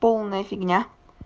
полная фигня